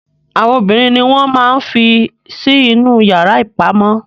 Àwọn obìnrin ni wọn máa n fí sí inú yara ipamọ.